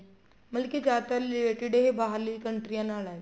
ਮਤਲਬ ਕੀ ਜਿਆਦਾਤਰ related ਇਹ ਬਾਹਰਲੀਆਂ ਕੰਨਟਰੀਆਂ ਨਾਲ ਹੈ